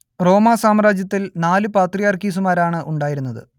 റോമാ സാമ്രാജ്യത്തിൽ നാലു പാത്രിയാർക്കീസുമാരാണ് ഉണ്ടായിരുന്നത്